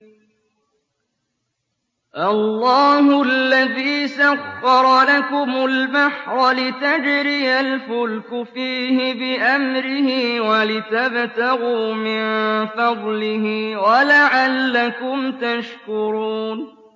۞ اللَّهُ الَّذِي سَخَّرَ لَكُمُ الْبَحْرَ لِتَجْرِيَ الْفُلْكُ فِيهِ بِأَمْرِهِ وَلِتَبْتَغُوا مِن فَضْلِهِ وَلَعَلَّكُمْ تَشْكُرُونَ